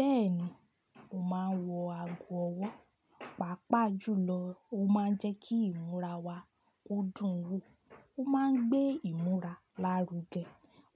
Bẹ́ẹ̀ni, mo máa ń wọ ago ọwọ́, pàápàá jùlọ ó máa ń jẹ́ kí ìmúra wa ó dùn wo, ó máa ń gbé ìmúra lárugẹ.